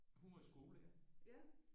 Hun var skolelærer